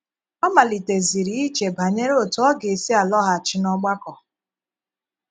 Ọ maliteziri iche banyere otú ọ gà- esi alọghàchì n’ọgbàkọ.